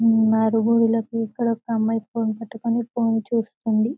ఇక్కడ ఒక అమ్మాయి ఫోన్ పట్టుకొని ఫోన్ చూస్తుంది --